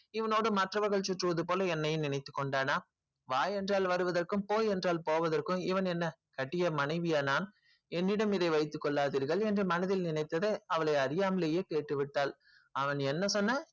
இவங்களோடு மற்றவர்கள் சுற்றுவது போல் என்னையும் நினைத்து கொண்டன வா என்று வருவதுற்கும் போ என்றால் போவதுற்கும் நான் என்ன அவன் கட்டிய மனைவிய என்னிடம் இதை வைத்து கொல்லார்த்திர்கள் என்று மனதில் நினைத்ததை அறியாமலே கேட்டு விட்டால் அவன் என்ன சொன்னான்